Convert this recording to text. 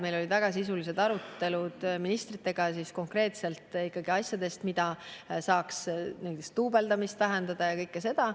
Meil olid väga sisulised arutelud ministritega ikkagi konkreetselt asjadest, mida saaks teha, et duubeldamist vähendada – kõike seda.